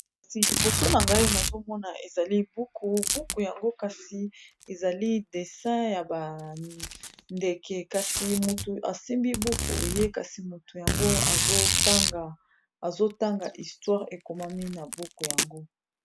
Kasi liboso na ngai nazomona ezali buku, buku yango kasi ezali dessin ya ba ndeke kasi mutu asimbi buku ye kasi mutu yango azotanga histoire ekomami na buku yango.